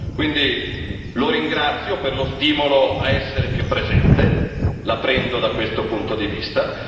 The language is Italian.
Quindi lo ringrazio per lo stimolo a essere più presente, la prendo da questo punto di vista.